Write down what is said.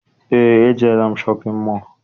Eé, ejeela m shọpịn mọọ.